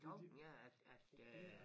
Tanken er at at øh